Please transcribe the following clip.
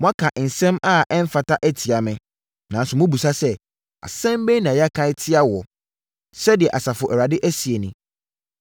“Moaka nsɛm a ɛmfata atia me, nanso mobisa sɛ, ‘Asɛm bɛn na yɛaka atia wo?’ Sɛdeɛ Asafo Awurade seɛ nie.